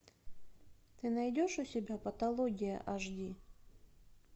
ты найдешь у себя патология аш ди